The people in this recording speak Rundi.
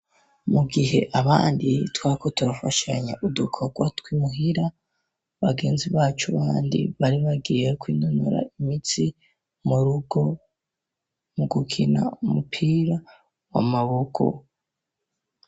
Mu gihe abandi twako turafashanya udukogwa tw'imuhira bagenzi bacu bandi bari bagiye kwinonora imitsi murugo mu gukina umupira w'amaboko.